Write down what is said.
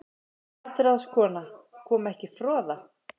MATRÁÐSKONA: Kom ekki froða?